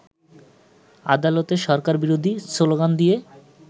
আদালতে সরকারবিরোধী শ্লোগান দিয়ে